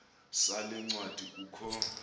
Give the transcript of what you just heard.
sale ncwadi kukho